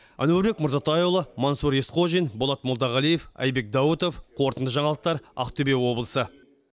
әнуарбек марзатайұлы мансұр есқожин болат молдағалиев айбек даутов қорытынды жаңалықтар ақтөбе облысы